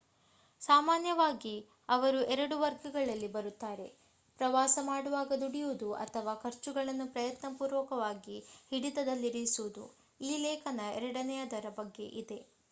ಸಾಮಾನ್ಯವಾಗಿ ಅವರು ಎರಡು ವರ್ಗಗಳಲ್ಲಿ ಬರುತ್ತಾರೆ ಪ್ರವಾಸ ಮಾಡುವಾಗ ದುಡಿಯುವುದು ಅಥವಾ ಖರ್ಚುಗಳನ್ನು ಪ್ರಯತ್ನ ಪೂರಕವಾಗಿ ಹಿಡಿತದಲ್ಲಿರಿಸುವುದು ಈ ಲೇಖನ ಎರಡನೆಯದರ ಬಗ್ಗೆ ಇದೆ